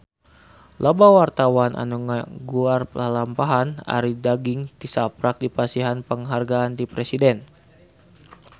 Loba wartawan anu ngaguar lalampahan Arie Daginks tisaprak dipasihan panghargaan ti Presiden